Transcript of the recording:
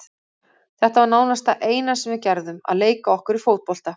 Þetta var nánast það eina sem við gerðum, að leika okkur í fótbolta.